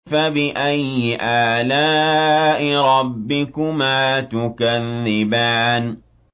فَبِأَيِّ آلَاءِ رَبِّكُمَا تُكَذِّبَانِ